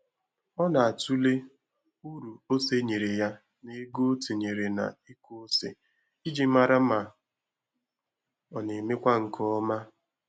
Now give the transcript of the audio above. Ọ na-atụle uru ose nyere ya na ego o tinyere na-ịkụ ose iji mara ma ọ na-emekwa nke ọma